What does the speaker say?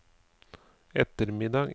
ettermiddag